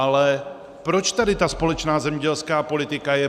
Ale proč tady ta společná zemědělská politika je?